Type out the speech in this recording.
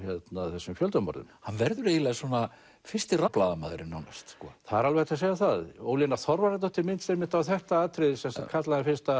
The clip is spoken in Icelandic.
þessum fjöldamorðum hann verður eiginlega svona fyrsti rannsóknarblaðamaðurinn það er alveg hægt að segja það Ólína Þorvarðardóttir minntist á þetta atriði kallaði hann fyrsta